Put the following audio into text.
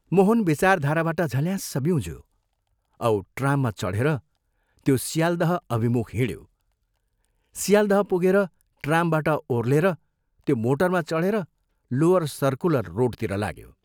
मोहन विचारधाराबाट झल्याँस्स ब्यूझ्यो औ ट्राममा चढेर त्यो सियाल्दह अभिमुख हिंड्यो सियाल्दह पुगेर ट्रामबाट ओर्हेर त्यो मोटरमा चढेर लोअर सर्कुलर रोडतिर लाग्यो।